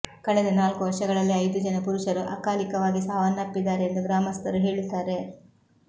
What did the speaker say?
ಕಳೆದ ನಾಲ್ಕು ವರ್ಷಗಳಲ್ಲಿ ಐದು ಜನ ಪುರುಷರು ಅಕಾಲಿಕವಾಗಿ ಸಾವನ್ನಪ್ಪಿದ್ದಾರೆ ಎಂದು ಗ್ರಾಮಸ್ಥರು ಹೇಳುತ್ತಾರೆ